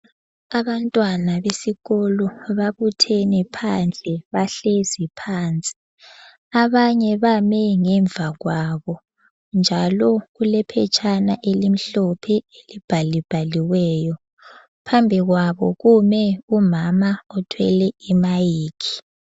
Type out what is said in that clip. Abantwana besikolo babuthene phandle .Bahlezi phansi, abanye bame ngemva kwabo njalo kule phetshana elimhlophe elibhalibhaliweyo. Phambili kwabo kume umama othwele imayikhi.